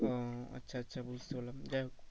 ও আচ্ছা আচ্ছা বুঝতে পরলাম যাই হোক